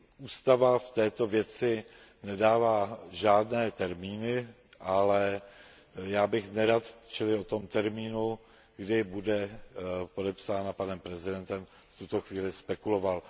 Ústava v této věci nedává žádné termíny, ale já bych nerad, aby se o termínu, kdy bude Smlouva podepsána panem prezidentem, v tuto chvíli spekulovalo.